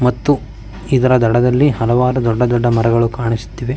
ಮತ್ತು ಇದರ ದಡದಲ್ಲಿ ಹಲವಾರು ಮರಗಳು ಕಾಣಿಸುತ್ತಿವೆ .